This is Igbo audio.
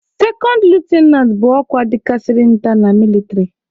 sekond litụnant bụ ọkwa dịkasịrị nta na mịlịtrị.